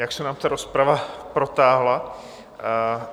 Nějak se nám ta rozprava protáhla.